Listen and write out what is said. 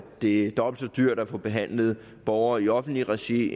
det er dobbelt så dyrt at få behandlet borgere i offentligt regi